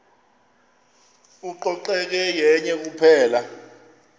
ucoceko yenye kuphela